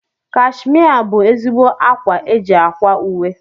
Kashmia bụ ezigbo ákwá eji ákwà uwe.